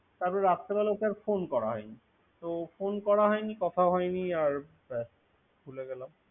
তারপরে রাত্রে বেলা তো আর ফোন করা হয় নি। তো ফোন করা হয়নি আর কথাও হয়নি। ভুলে গেলাম।